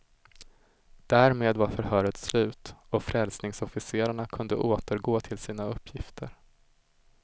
Därmed var förhöret slut och frälsningsofficerarna kunde återgå till sina uppgifter.